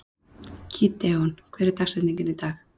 Gídeon, hver er dagsetningin í dag?